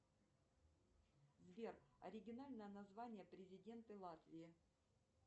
сбер оригинальное название президента латвии